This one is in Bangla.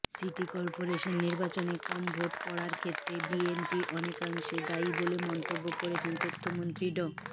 সিটি কর্পোরেশন নির্বাচনে কম ভোট পড়ার ক্ষেত্রে বিএনপি অনেকাংশে দায়ী বলে মন্তব্য করেছেন তথ্যমন্ত্রী ড